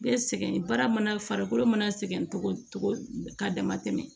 Bɛ sɛgɛn baara mana farikolo mana sɛgɛn cogo cogo k'a dama tɛmɛ